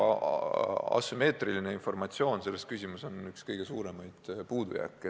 Asümmeetriline informatsioon selles küsimuses on üks kõige suuremaid puudujääke.